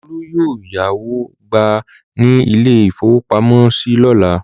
Olú yóò yáwó gbà ní ilé-ìfowópamọ́sí lọ́la.